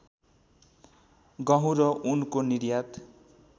गहुँ र ऊनको निर्यात